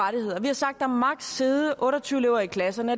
sidde otte og tyve elever i klasserne